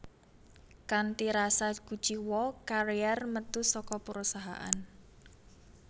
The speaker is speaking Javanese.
Kanthi rasa kuciwa Carrier metu saka perusahaan